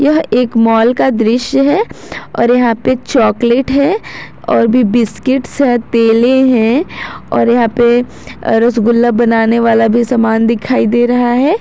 यह एक माल का दृश्य है और यहां पे चॉकलेट है और भी बिस्किट्स हैं तेले हैं और यहां पे रसगुल्ला बनाने वाला भी सामान दिखाई दे रहा है।